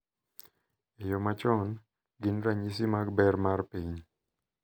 e yo machon, gin ranyisi mag ber mar piny .